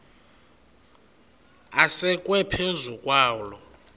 asekwe phezu kwaloo